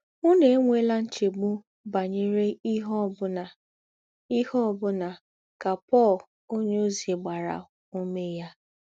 “ Ǔnù ènwèlà nchègbù̄ bányèrè ìhè ọ̀ bụ̀nà, ìhè ọ̀ bụ̀nà, ” kà Pọl ǒnyéòzí gbàrà ǔmé yà.